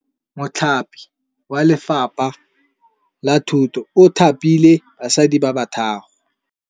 Mothapi wa Lefapha la Thutô o thapile basadi ba ba raro.